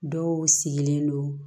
Dɔw sigilen don